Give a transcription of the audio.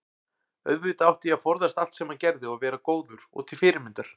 auðvitað átti ég að forðast allt sem hann gerði og vera góður og til fyrirmyndar.